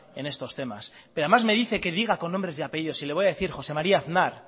en estos temas pero además me dice que diga con nombres y apellidos y le voy a decir jose maría aznar